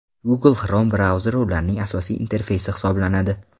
Google Chrome brauzeri ularning asosiy interfeysi hisoblanadi.